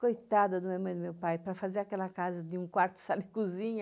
Coitada da minha mãe e do meu pai para fazer aquela casa de um quarto, sala e cozinha,